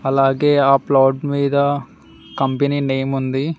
అలాగే ఆ ప్లాట్ మీద కంపెనీ నేమ్ ఉంది.